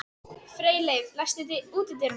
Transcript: Freyleif, læstu útidyrunum.